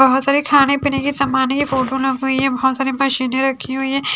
बहोत सारे खाने पीने की सामने है बहोत सारी मशीन रखी हुई है।